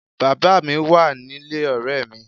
Bàbá mi wà nílé ọ̀rẹ́ mi